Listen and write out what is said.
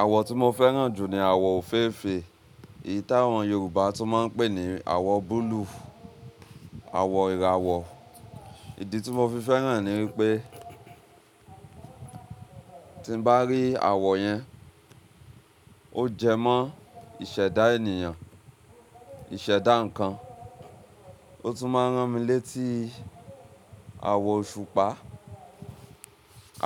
Àwọ̀ tí mo fẹ́ràn jù ní àwọ̀ òféèfé, èyí tí àwọn Yorùbá tún máa n pè ní àwọ̀ búlúù, àwọ̀ ìràwọ̀. Ìdí tí mo fi fẹ́ràn ni wípé tí mo bá rí àwọ̀ yẹn, ó jẹ mọ́ ìṣẹ̀dá ènìyàn, ìṣẹ̀dá ǹkan. Ó tún máa n rán mi létí àwọ̀ òṣùpá.